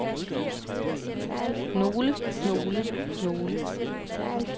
nogle nogle nogle